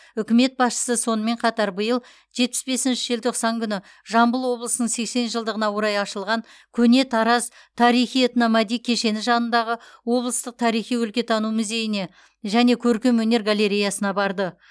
үкімет басшысы сонымен қатар биыл жетпіс бесінші желтоқсан күні жамбыл облысының сексен жылдығына орай ашылған көне тараз тарихи этномәди кешені жанындағы облыстық тарихи өлкетану музейіне және көркемөнер галереясына барды